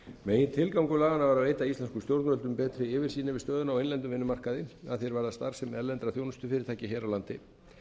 megintilgangur laganna var að veita íslenskum stjórnvöldum betri yfirsýn yfir stöðuna á innlendum vinnumarkaði að því er varðar starfsemi erlendra þjónustufyrirtækja hér á landi